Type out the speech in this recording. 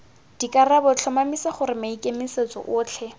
dikarabo tlhomamisa gore maikemisetso otlhe